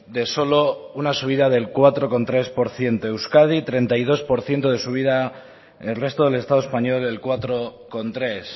de solo una subida del cuatro coma tres por ciento euskadi treinta y dos por ciento de subida el resto del estado español el cuatro coma tres